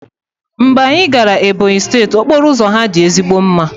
Mgbe anyị gara Ebonyi steeti, okporo ụzọ ha dị ezigbo mma